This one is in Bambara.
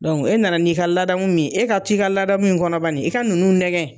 e nana n'i ka laadamu min ye, e ka t'i ka laadamu in kɔnɔ bani, i ka nunnu nɛgɛ